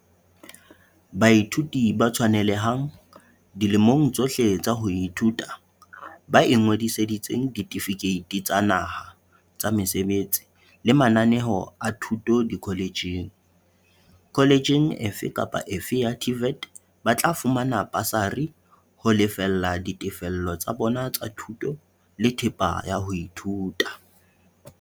Baithuti ba tshwanelehang, dilemong tsohle tsa ho ithuta, ba ingodiseditseng ditefikeiti tsa naha tsa mesebetsi le mananeo a thuto dikhole tjheng. kholetjheng efe kapa efe ya TVET ba tla fumana basari ho lefella ditefello tsa bona tsa thuto le thepa ya ho ithuta.